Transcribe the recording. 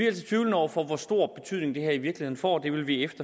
altså tvivlende over for hvor stor betydning det her i virkeligheden får det vil vi